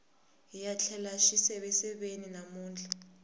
hiya tlela xiseveseveni namuntlha